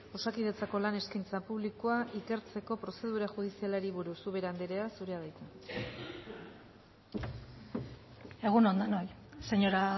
osakidetzako lan eskaintza publikoa ikertzeko prozedura judizialari buruz ubera andrea zurea da hitza egun on denoi señora